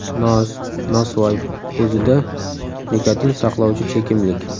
Nos, nosvoy o‘zida nikotin saqlovchi chekimlik.